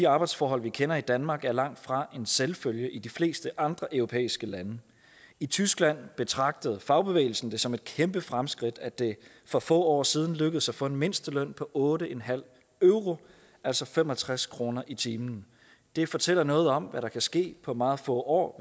arbejdsforhold vi kender i danmark er langtfra en selvfølge i de fleste andre europæiske lande i tyskland betragtede fagbevægelsen det som et kæmpe fremskridt at det for få år siden lykkedes at få en mindsteløn på otte euro altså fem og tres kroner i timen det fortæller noget om hvad der kan ske på meget få år